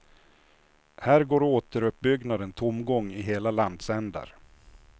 Här går återuppbyggnaden tomgång i hela landsändar.